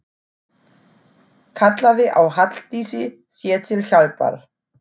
Kallaði á Halldísi sér til hjálpar.